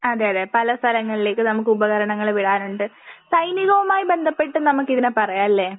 അതെ അതെ പല സ്ഥലങ്ങളിലേക്കും നമുക്ക് ഉപകരണങ്ങൾ വിടാനുണ്ട്. സൈനികവുമായി ബന്ധപ്പെട്ട് നമുക്ക് ഇതിനെ പറയാം ല്ലേ?